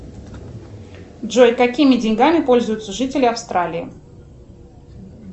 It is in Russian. джой какими деньгами пользуются жители австралии